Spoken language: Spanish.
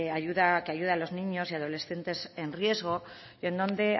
que ayuda a los niños y adolescentes en riesgo en donde